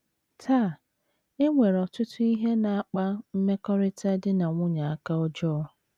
Taa, e nwere ọtụtụ ihe na - akpa mmekọrịta di na nwunye aka ọjọọ.